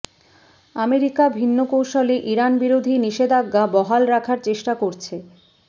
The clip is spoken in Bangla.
আমেরিকা ভিন্ন কৌশলে ইরান বিরোধী নিষেধাজ্ঞা বহাল রাখার চেষ্টা করছে